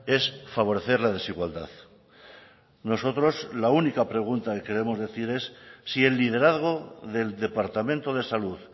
es favorecer la desigualdad nosotros la única pregunta que queremos decir es si el liderazgo del departamento de salud